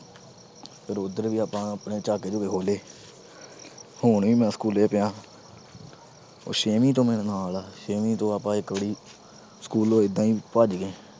ਫਿਰ ਉਧਰ ਵੀ ਆਪਾ ਆਪਣੇ ਝਾਟੇ-ਝੁਟੇ ਖੋਲੇ। ਹੁਣ ਵੀ ਮੈਂ school ਪਿਆ, ਉਹ ਛੇਵੀਂ ਤੋਂ ਮੇਰੇ ਨਾਲ ਆ। ਛੇਵੀਂ ਤੋਂ ਆਪਾ ਇੱਕ ਵਾਰੀ school ਇਦਾ ਈ ਭੱਜ ਗਏ।